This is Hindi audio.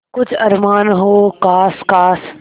कुछ अरमान हो जो ख़ास ख़ास